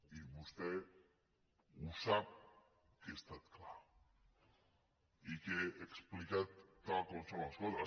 i vostè ho sap que he estat clar i que he explicat tal com són les coses